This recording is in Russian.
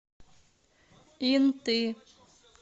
инты